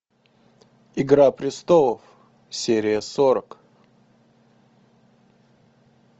игра престолов серия сорок